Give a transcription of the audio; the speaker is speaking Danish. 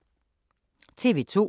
TV 2